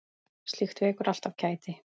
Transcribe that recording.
Slíkt vekur alltaf kæti.